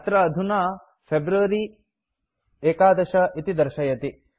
अत्र अधुना फेब्रुअरी 11 इति दर्शयति